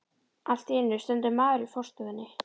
Allt í einu stendur maður í forstofunni.